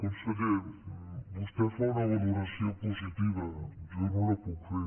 conseller vostè fa una valoració positiva jo no la puc fer